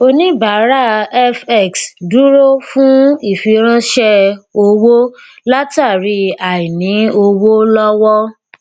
oníbàárà fx dúró fún ìfiránṣẹ owó látàrí àìní owó lọwọ